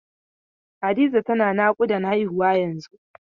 Hadiza tana naƙudan haihuwa yanzun.